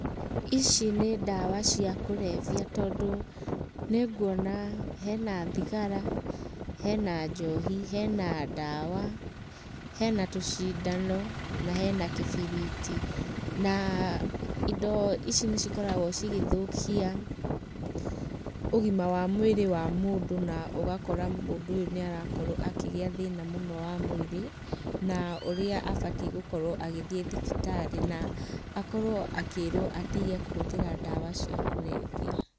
Ici nĩ ndawa cia kũrebia tondũ nĩguona hena thigara, hena njohi, hena ndawa, hena tũcindano na hena kĩbiriti. Na indo ici nĩcikoragũo cigĩthũkia ũgima wa mwĩrĩ wa mũndũ na ũgakora mũndũ ũyũ nĩ arakorwo akĩgĩa thĩna mũno wa mwĩrĩ na ũrĩa abatiĩ gũkorwo agĩthiĩ thibitarĩ na akorwo akĩĩrwo atige kũhũthĩra ndawa cia kũrebia.